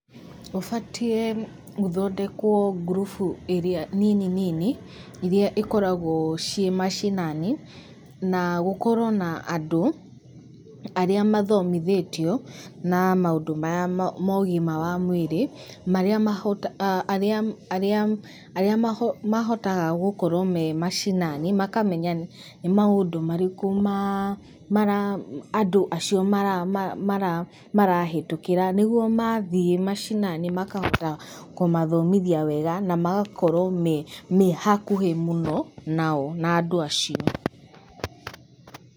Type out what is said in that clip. Gũbatiĩ gũthondekwo ngurubu ĩrĩa nini nini, ĩrĩa ĩkoragwo ciĩ mashinani, na na gũkorwo na andũ, arĩa mathomithĩtio na maũndũ maya ma ũgima wa mwĩrĩ, marĩa, arĩa mahotaga gũkorwo me mashinani, makamenya nĩ maũndũ marĩkũ andũ acio mara marahĩtũkĩra, nĩguo mathiĩ mashinani makahota kũmathomithia wega, na magakorwo mehakuhĩ mũno nao, na andũ acio.